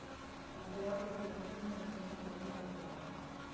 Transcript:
Það er alltaf jákvætt þegar stuðningsmenn standa á bak við manni.